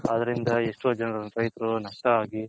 ಅದರಿಂದ ಎಷ್ಟೋ ಜನ ರೈತರು ನಷ್ಟ ಆಗಿ